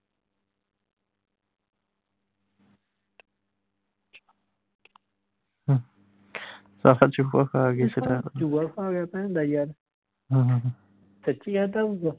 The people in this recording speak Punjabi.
ਭੈਣ ਦਾ ਯਾਰ ਸੱਚੀ ਖਾਦਾ ਹੋਊਗਾ